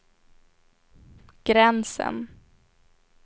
gränsen